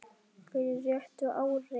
fyrir réttu ári.